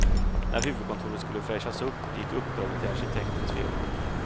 När huvudkontoret skulle fräschas upp, gick uppdraget till arkitektens firma.